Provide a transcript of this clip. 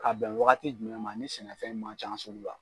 Ka bɛn wagati jumɛn ma ni sɛnɛfɛn ma ca sugu la